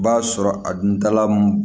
B'a sɔrɔ a dun dala